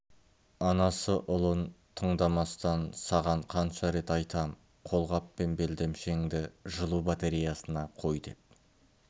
анасы ұлын тыңдамастан саған қанша рет айтам қолғап пен белдемшеңді жылу батареясына қой деп